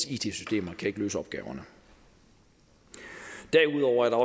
it systemer kan ikke løse opgaverne derudover er